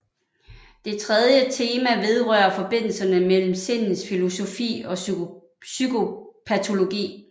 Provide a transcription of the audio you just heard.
Det tredje tema vedrører forbindelserne mellem sindets filosofi og psykopatologi